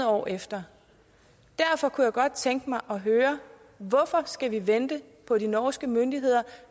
år efter derfor kunne jeg godt tænke mig at høre hvorfor skal vi vente på de norske myndigheder